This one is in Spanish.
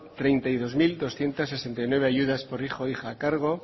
treinta y dos mil doscientos sesenta y nueve ayudas por hijo o hija a cargo